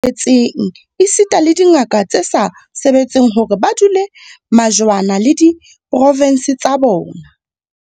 Etseng esita le dingaka tse sa sebetseng hore ba dule majwana le diprovense tsa bona.